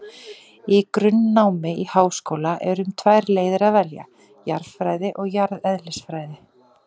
Í grunnnámi í háskóla er um tvær leiðir að velja, jarðfræði og jarðeðlisfræði.